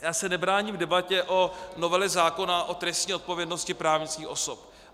Já se nebráním debatě o novele zákona o trestní odpovědnosti právnických osob.